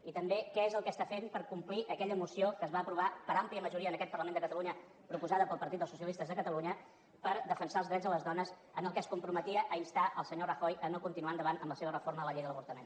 i també què és el que està fent per complir aquella moció que es va aprovar per àmplia majoria en aquest parlament de catalunya proposada pel partit dels socialistes de catalunya per defensar els drets de les dones en què es comprometia a instar el senyor rajoy a no continuar endavant amb la seva reforma de la llei de l’avortament